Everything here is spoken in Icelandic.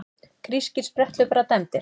Grískir spretthlauparar dæmdir